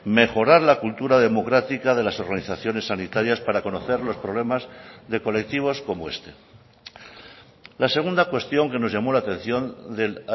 mejorar la cultura democrática de las organizaciones sanitarias para conocer los problemas de colectivos como este la segunda cuestión que nos llamó la atención del